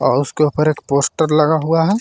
और उसके ऊपर एक पोस्टर लगा हुआ है।